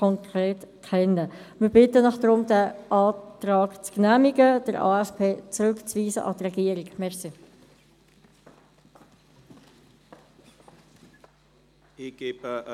Wir bitten Sie deshalb, diesem Antrag zuzustimmen und den AFP an die Regierung zurückzuweisen.